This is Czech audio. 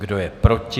Kdo je proti?